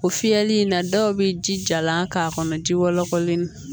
O fiyɛli in na dɔw bɛ ji jalan k'a kɔnɔ ji wɔlɔkɔlen